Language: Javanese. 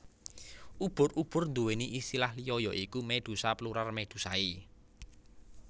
Ubur ubur nduwéni istilah liya ya iku Medusa Plural Medusae